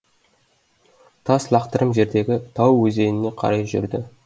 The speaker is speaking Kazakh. тас лақтырым жердегі тау өзеніне қарай жүрді